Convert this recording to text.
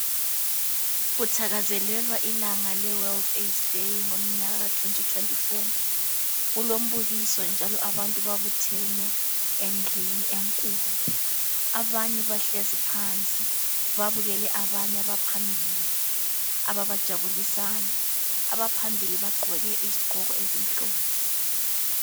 Kuthakazelelwa ilanga le World Aids Day ngomnyaka ka2024. Kulombukiso njalo abantu babuthene endlini enkulu abanye bahlezi phansi babukele abanye abaphambili ababajabulisayo abaphambili bagqoke izigqoko ezimhlophe